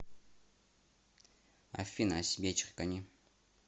афина о себе черкани